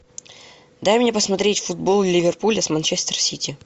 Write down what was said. дай мне посмотреть футбол ливерпуля с манчестер сити